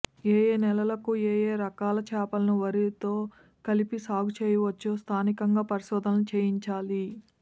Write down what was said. ఏయే నేలలకు ఏయే రకాల చేపలను వరితో కలిపి సాగు చేయింవచ్చో స్థానికంగా పరిశోధనలు చేయించాలి